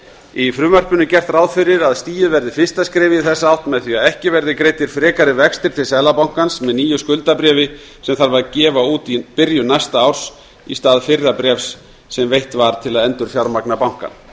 í frumvarpinu er gert ráð fyrir að stigið verði fyrsta skrefið í þessa átt með því að ekki verði greiddir frekari vextir til seðlabankans með nýju skuldabréfi sem gefa þarf út í byrjun næsta árs í stað fyrra bréfs sem veitt var til að endurfjármagna bankann